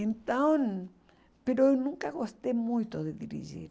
Então... eu nunca gostei muito de dirigir.